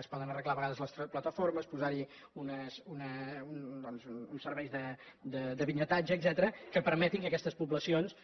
es poden arreglar a vegades les plataformes posar hi doncs uns serveis de bitlletatge etcètera que permetin que aquestes poblacions